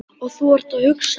Og þú þarft að hugsa.